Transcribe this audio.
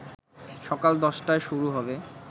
সকাল ১০টায় শুরু হবে